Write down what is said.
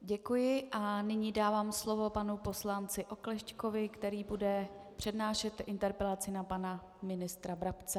Děkuji a nyní dávám slovo panu poslanci Oklešťkovi, který bude přednášet interpelaci na pana ministra Brabce.